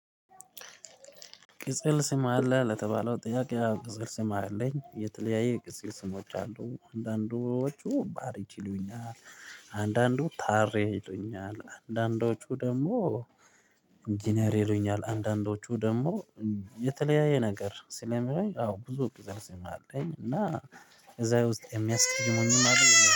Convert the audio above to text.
ቅጽል ስም አለ ለተባለው ጥያቄ ቅጽል ስም አለኝ የተለያየ ቅጽል ስሞች አሉ አንዳንዶቹ ባርች ይሉኛል። አንዳንዶቹ ታቤ ይሉኛል አንዳንዶቹ ደግሞ ኢንጂነሪ ይሉኛል አንዳንዶቹ ደግሞ የተለያየ ነገር ስለሚሆን አዎ ብዙ ቅጽል ስሜ አለኝ። እና እዛ ውስጥ የሚያስቀይሙኝም አይደለም